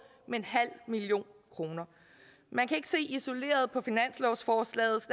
med en halv million kroner man kan ikke se isoleret på finanslovsforslaget